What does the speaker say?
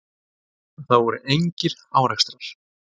Það voru engir árekstrar.